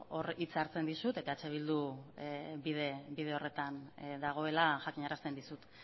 hor hitza hartzen dizut eta eh bildu bide horretan dagoela jakinarazten dizut